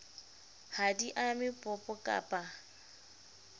ha di ame popo kappa